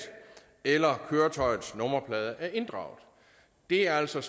eller køretøjets nummerplader er inddraget det er altså